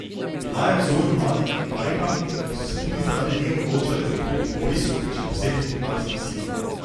Bila je vzor mladim Kitajkam, ki so se tudi zaradi nje odločale za odhod v vojsko in še posebno k letalskim silam.